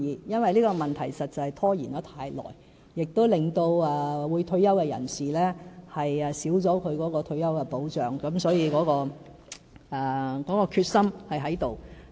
因為這個問題實在拖延太久，也令退休人士減少退休保障，所以決心是有的。